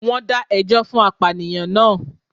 Wón dá ẹjọ́ fún apànìyàn naa